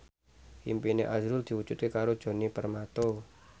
impine azrul diwujudke karo Djoni Permato